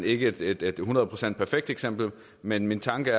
ikke er et hundrede procent perfekt eksempel men min tanke